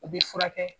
U bɛ furakɛ